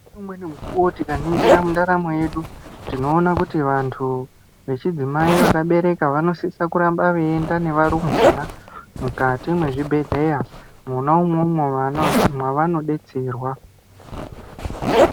Umweni mukuwo tikaningira mundaramo yedu tinoona kuti vantu vechidzimai vakabereka vanosisa kuramaba veienda nevarumbwana mukati mwezvibhehleya mwona umwomwo mwavanobetserwa.